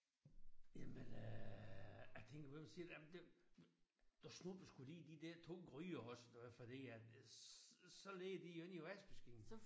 Jamen øh det kan være hun siger jamen det du snupper sgu lige de der to gryder også eller fordi at så ligger de jo ikke i vaskemaskinen